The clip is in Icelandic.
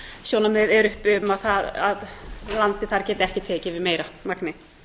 sjónarmið eru uppi um að landið þar geti ekki tekið við meira magni